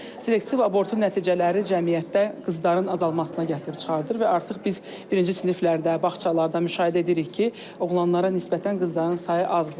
Və selektiv abortun nəticələri cəmiyyətdə qızların azalmasına gətirib çıxardır və artıq biz birinci siniflərdə, bağçalarda müşahidə edirik ki, oğlanlara nisbətən qızların sayı azdır.